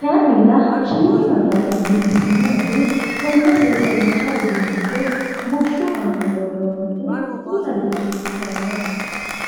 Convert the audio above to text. kayiinnilla shiima geeshsha dadillisinoehu konne seesallicha uduunnicho bushshu aana worroonniti dihagiirsiissannote.